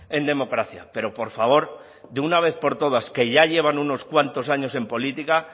en democracia pero por favor de una vez por todas que ya llevan unos cuantos años en política